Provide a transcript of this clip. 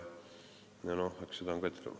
Seda on ka ette tulnud.